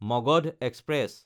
Magadha express